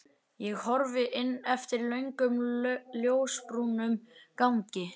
Ég horfi inn eftir löngum ljósbrúnum gangi.